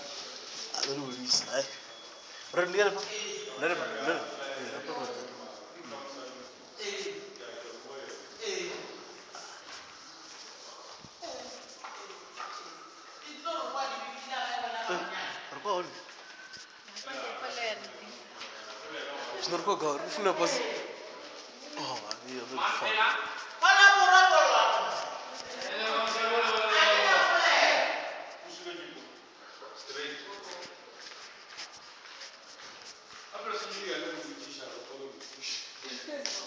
u tshimbidza na mvelaphana yo